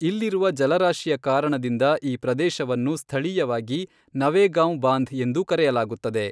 ಇಲ್ಲಿರುವ ಜಲರಾಶಿಯ ಕಾರಣದಿಂದ ಈ ಪ್ರದೇಶವನ್ನು ಸ್ಥಳೀಯವಾಗಿ ನವೇಗಾಂವ್ ಬಾಂಧ್ ಎಂದೂ ಕರೆಯಲಾಗುತ್ತದೆ.